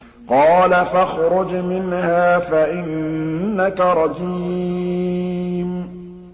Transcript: قَالَ فَاخْرُجْ مِنْهَا فَإِنَّكَ رَجِيمٌ